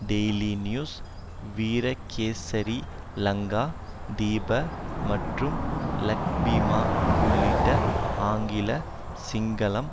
daily News Virakesari Lankadeepa மற்றும் லக்பிமா உள்பட ஆங்கிலம் சிங்களம்